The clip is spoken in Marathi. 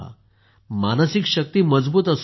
मानसिक शक्ती मजबूत असू द्यात